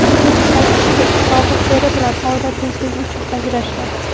Uning aytishicha, sobiq eri bilan oila tinchligi uchun ajrashgan.